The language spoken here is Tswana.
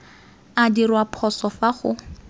a dirwa phoso fa go